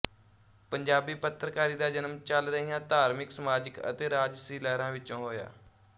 ਪੰਜਾਬੀ ਪੱਤਰਕਾਰੀ ਦਾ ਜਨਮ ਚੱਲ ਰਹੀਆਂ ਧਾਰਮਿਕ ਸਮਾਜਿਕ ਅਤੇ ਰਾਜਸੀ ਲਹਿਰਾਂ ਵਿੱਚੋਂ ਹੋਇਆ